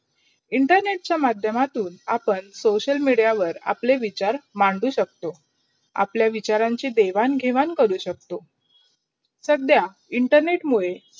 internet चा माध्य्यमातून आपण social media वर आपले विचार मॅडवू शकतो. आपला विचारांची देवान - घेवाण करू शकतो. सध्या इंटरनेट मुडे